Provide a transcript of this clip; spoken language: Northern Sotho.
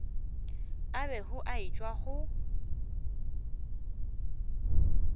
a bego a etšwa go